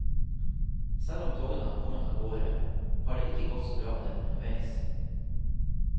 Selv om togene har kommet av gårde, har det ikke gått så bra med dem underveis.